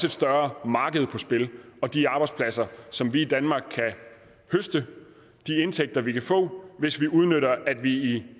et større marked på spil og de arbejdspladser som vi i danmark og de indtægter vi kan få hvis vi udnytter at vi i